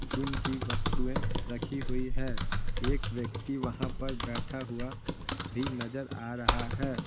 Gym की वस्तुएं रखी हुई है एक व्यक्ति वहां पर बैठा हुआ भी नजर आ रहा है।